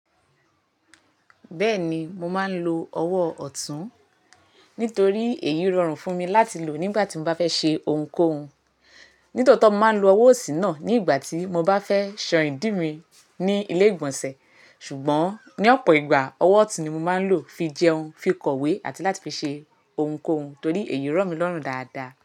Bẹ́ẹ̀ni mo máa ń lo ọwọ́ ọ̀tún, nítorí èyí rọrùn fún mi láti lò nígbà tí mo bá fẹ́ ṣe ohunkóhun. Nítòótọ́ mo máa ń lo ọwọ́ òsì náà nígbà tí mo bá fẹ́ ṣan ìdí mi ní ilé ìgbọ̀nsẹ̀. Ṣùgbọ́n ní ọ̀pọ̀ ìgbà, ọwọ́ ọ̀tún ni mo máa ń lò fi jẹun, fi kọ̀wé àti láti fi ṣe ohunkóhun torí èyí ro mí lọ́rùn dáadáa.